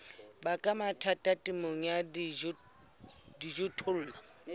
baka mathata temong ya dijothollo